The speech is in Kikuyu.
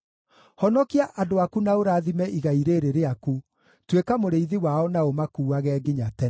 Honokia andũ aku na ũrathime igai rĩĩrĩ rĩaku, tuĩka mũrĩithi wao na ũmakuuage nginya tene.